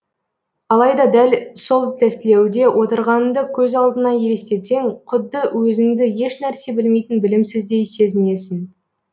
алайда дәл сол тестілеуде отырғаныңды көз алдыңа елестетсең құдды өзіңді ешнәрсе білмейтін білімсіздей сезінесің